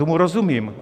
Tomu rozumím.